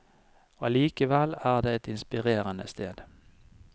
Allikevel er det et inspirerende sted.